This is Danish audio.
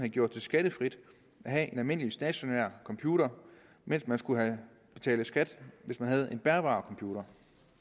gjort skattefrit at have en almindelig stationær computer mens man skulle betale skat hvis man havde en bærbar computer